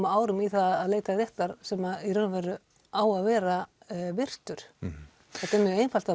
árum í að leita réttar sem í raun og veru á að vera virtur þetta er mjög einfalt